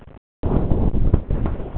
Hrafnhildur, slökktu á niðurteljaranum.